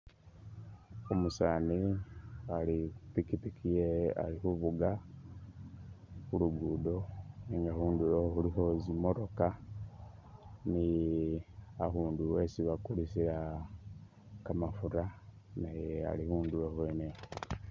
Umusaani ali khu pikipiki yewe ali khuvuga khu luguudo nenga khundulo khulikho tsi'motoka ni abundu esi bakulisila kamafura naye ali khundulo khwene ikhwo.